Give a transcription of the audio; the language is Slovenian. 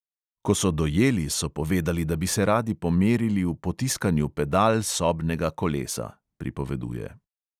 "Ko so dojeli, so povedali, da bi se radi pomerili v potiskanju pedal sobnega kolesa," pripoveduje.